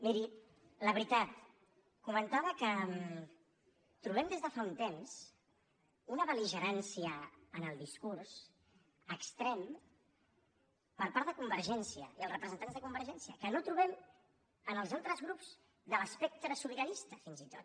miri la veritat comentava que trobem des de fa un temps una bel·ligerància en el discurs extrem per part de convergència i els representants de convergència que no trobem en els altres grups de l’espectre sobiranista fins i tot